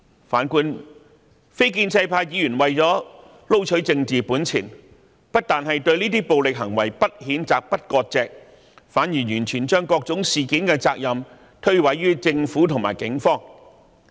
然而，非建制派議員為了撈取政治本錢，不但對這些暴力行為不譴責、不割席，反而將各種事件的責任完全諉過於政府和警方。